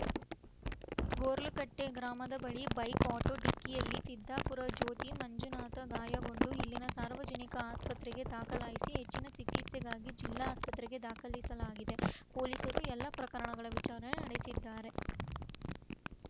ಗೊರ್ಲಕಟ್ಟೆಗ್ರಾಮದ ಬಳಿ bike auto ಡಿಕ್ಕಿಯಲ್ಲಿ ಸಿದ್ದಾಪುರ ಜ್ಯೋತಿ ಮಂಜುನಾಥ ಗಾಯಗೊಂಡು ಇಲ್ಲಿನ ಸಾರ್ವಜನಿಕ ಆಸ್ಪತ್ರೆಗೆ ದಾಖಲಿಸಿ ಹೆಚ್ಚಿನ ಚಿಕಿತ್ಸೆಗಾಗಿ ಜಿಲ್ಲಾ ಆಸ್ಪತ್ರೆಗೆ ದಾಖಲಿಸಲಾಗಿದೆ ಪೊಲೀಸರು ಎಲ್ಲಾ ಪ್ರಕರಣಗಳ ವಿಚಾರಣೆ ನಡೆಸಿದ್ದಾರೆ